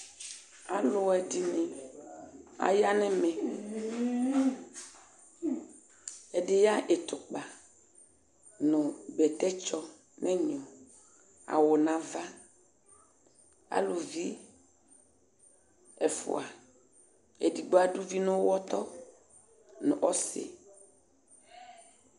Aluɛdini ayanu ɛmɛ ɛdiya ɛtukpa nunɛtɛtsɔ nu ɛŋɔ awu nu aʋa aluvi ɛfua edigbo aduvi nu uɣɔtɔ nu ɔsi